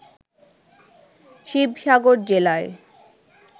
শিবসাগর জেলায়